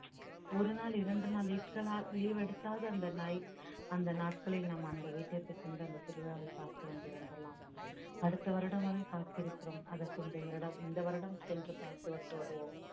ஒரு நாள் இரண்டு நாள் leave எடுத்தாவது அந்த night அந்த நாட்களில் நாம் அந்த வீட்டிற்கு சென்று அந்த திருவிழாவை பார்த்து வந்து வந்தரலாம் அடுத்த வருடம் வரை காத்திருக்கிறோம் அதற்கு இந்த இரடம்~ இந்த வருடம் சென்று பார்த்து விட்டு வருவோம்